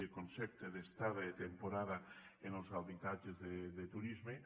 de concepte d’estada i de temporada en els habitatges de turisme